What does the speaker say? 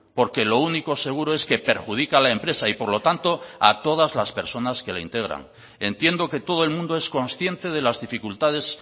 porque lo único seguro es que perjudica a la empresa y por lo tanto a todas las personas que la integran entiendo que todo el mundo es consciente de las dificultades